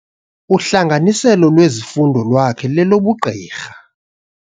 Uhlanganiselo lwezifundo lwakhe lolobugqirha.